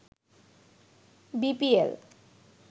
BPL